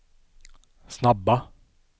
snabba